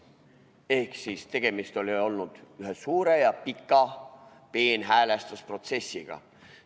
" Ehk tegemist oli olnud ühe suure ja pika peenhäälestuse protsessiga.